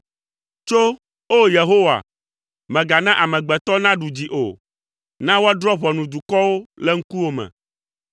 Tso, O Yehowa! Mègana amegbetɔ naɖu dzi o, na woadrɔ̃ ʋɔnu dukɔwo le ŋkuwò me.